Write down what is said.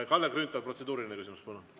Kalle Grünthal, protseduuriline küsimus, palun!